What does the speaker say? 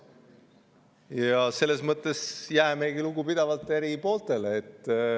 Ja selles mõttes jäämegi lugupidavalt eri pooltele.